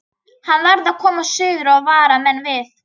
Hann varð að komast suður og vara menn við.